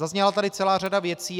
Zazněla tady celá řada věcí.